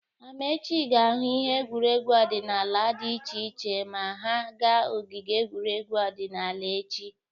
Amaechi ga-ahụ ihe egwuregwu odịnaala dị iche iche ma ha ga ogige egwuregwu odịnaala echi.